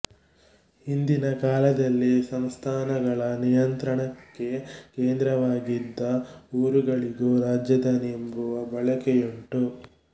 ಹಿಂದಿನ ಕಾಲದಲ್ಲಿ ಸಂಸ್ಥಾನಗಳ ನಿಯಂತ್ರಣಕ್ಕೆ ಕೇಂದ್ರವಾಗಿದ್ದ ಊರುಗಳಿಗೂ ರಾಜಧಾನಿ ಎನ್ನುವ ಬಳಕೆಯುಂಟು